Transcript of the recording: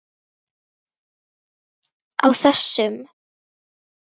Á þessum